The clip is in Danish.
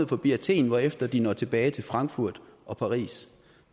forbi athen hvorefter de når tilbage til frankfurt og paris